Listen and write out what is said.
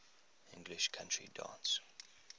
english country dance